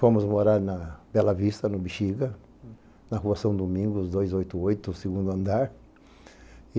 Fomos morar na Bela Vista, no Bixiga, na rua São Domingos, dois oito oito, segundo andar.